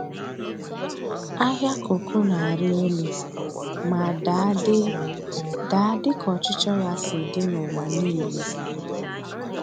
Ahịa kooko na-arị elu ma daa dị daa dị ka ọchịchọ ya si dị n'ụwa niile.